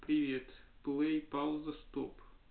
привет плей пауза стоп